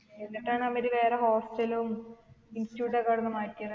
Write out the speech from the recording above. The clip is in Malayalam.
എന്നിട്ടാണ് അവര് വേറെ hostel ഉം institute ഒക്കെ അവിടന്നു മാറ്റിയത്